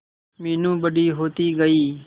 मीनू बड़ी होती गई